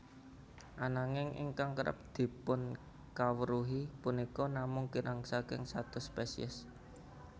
Ananging ingkang kerep dipunkawruhi punika namung kirang saking satus spesies